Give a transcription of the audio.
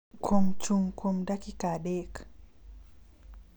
kuom chung' kuom dakika adek